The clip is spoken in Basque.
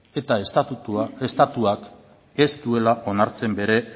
eta estatuak ez duela onartzen bere